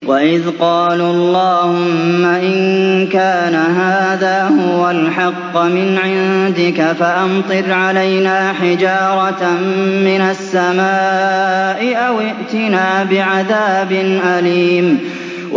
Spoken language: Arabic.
وَإِذْ قَالُوا اللَّهُمَّ إِن كَانَ هَٰذَا هُوَ الْحَقَّ مِنْ عِندِكَ فَأَمْطِرْ عَلَيْنَا حِجَارَةً مِّنَ السَّمَاءِ أَوِ ائْتِنَا بِعَذَابٍ أَلِيمٍ